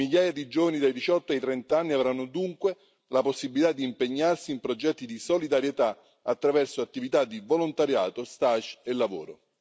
Migliaia di giovani dai 18 ai 30 anni avranno dunque la possibilità di impegnarsi in progetti di solidarietà attraverso attività di volontariato, stage e lavoro.